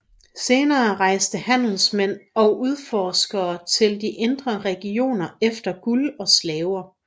Senere rejste handelsmænd og udforskere til de indre regioner efter guld og slaver